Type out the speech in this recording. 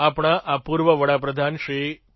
આપણા આ પૂર્વ પ્રધાનમંત્રી શ્રી પી